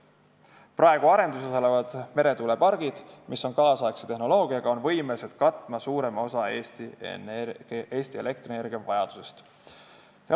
Praegu arenduses olevad meretuulepargid, mis on nüüdisaegse tehnoloogiaga, on võimelised katma suurema osa Eesti elektrienergiavajadusest.